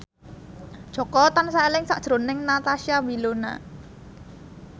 Jaka tansah eling sakjroning Natasha Wilona